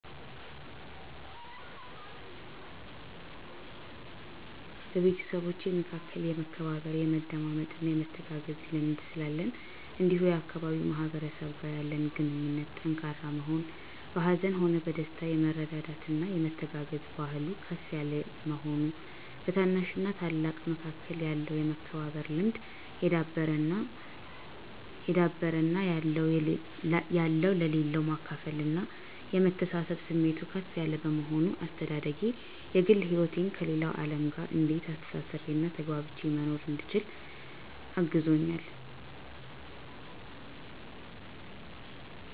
በቤተሰቦቼ መካከል የመከባበር፣ የመደማመጥና የመተጋገዝ ልምድ ስላለን እንዲሁም የአካባቢው ማህበረሰብ ጋር ያለን ግንኙነት ጠንካራ መሆን፤ በሀዘንም ሆነ በደስታ የመረዳዳትና የመተጋገዝ ባህሉ ከፍ የለ መሆኑ፤ በታናሽና ታላቅ መካከል ያለው የመከባበር ልምድ የዳበረ እና ያለው ለሌለው የማካፈልና የመተሳሰብብ ስሜቱ ከፍ ያለ በመሆኑ፤ አስተዳደጌ የግል ህይወቴን ከሌለው አለም ጋር እንዴት አስተሳስሬና ተግባብቼ መኖር እንድችል አግዞኛል